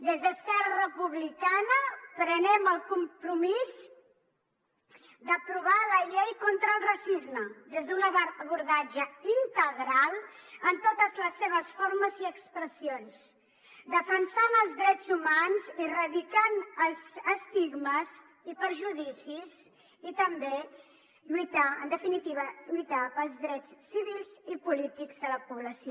des d’esquerra republicana prenem el compromís d’aprovar la llei contra el racisme des d’un abordatge integral en totes les seves formes i expressions defensant els drets humans i erradicant els estigmes i perjudicis i també lluitar en definitiva pels drets civils i polítics de la població